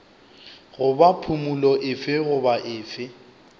goba phumolo efe goba efe